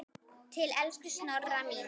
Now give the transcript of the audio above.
Til elsku Snorra míns.